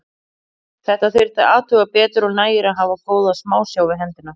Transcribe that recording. Þetta þyrfti að athuga betur og nægir að hafa góða smásjá við hendina.